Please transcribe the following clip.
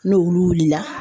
N'o wulu wulila